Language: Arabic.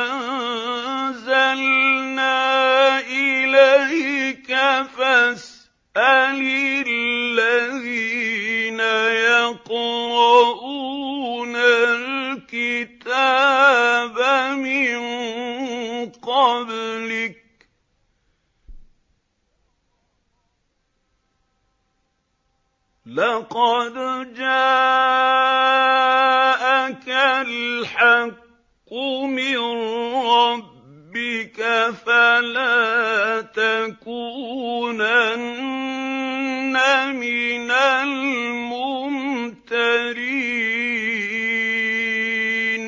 أَنزَلْنَا إِلَيْكَ فَاسْأَلِ الَّذِينَ يَقْرَءُونَ الْكِتَابَ مِن قَبْلِكَ ۚ لَقَدْ جَاءَكَ الْحَقُّ مِن رَّبِّكَ فَلَا تَكُونَنَّ مِنَ الْمُمْتَرِينَ